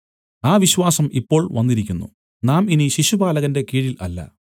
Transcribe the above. ആ വിശ്വാസം ഇപ്പോൾ വന്നിരിക്കുന്നു നാം ഇനി ശിശുപാലകന്റെ കീഴിൽ അല്ല